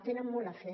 tenen molt a fer